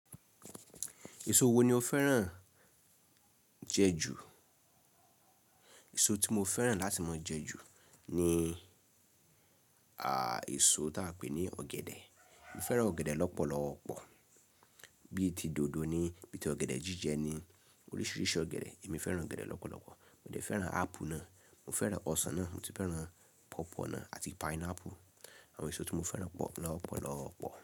Èso wo ni o fẹ́ràn jẹ ju? Èso tí mo fẹ́ràn láti máa jẹ ju ni, à, èso táa pè ní ọ̀gẹ̀dẹ̀. Mo fẹ́ràn ọ̀gẹ̀dẹ̀ lọ́pọ̀lọ́pọ̀, bíi ti dòdò ni, bíi ti ọ̀gẹ̀dẹ̀ jíjẹ ni, oríṣiríṣi ọ̀gẹ̀dẹ̀ èmi fẹ́ràn ọ̀gẹ̀dẹ̀ lọ́pọ̀lọ́pọ̀. Mo dẹ̀ fẹ́ràn ápù náà, mo fẹ́ràn ọsàn náà, mo sì fẹ́ràn pawpaw ná àti pineapple. Àwọn èso tí mo fẹ́ràn pọ̀ lọ́pọ̀lọ́pọ̀